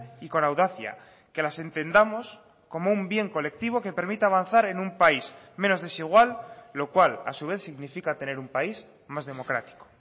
y con audacia que las entendamos como un bien colectivo que permita avanzar en un país menos desigual lo cual a su vez significa tener un país más democrático